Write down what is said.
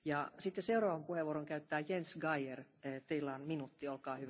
Frau Präsidentin, meine Damen und Herren!